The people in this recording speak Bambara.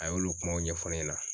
A y'olu kumaw ɲɛfɔ ne ɲɛna